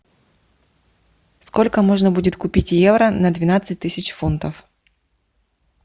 сколько можно будет купить евро на двенадцать тысяч фунтов